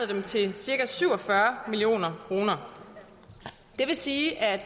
dem til cirka syv og fyrre million kroner det vil sige at